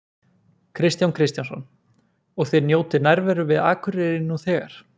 Kristján Kristjánsson: Og þið njótið nærveru við Akureyri nú þegar?